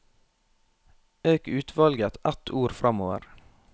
Øk utvalget ett ord framover